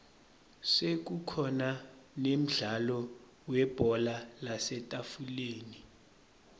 sekukhona nemdlalo webhola lasetafuleni